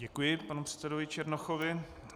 Děkuji panu předsedovi Černochovi.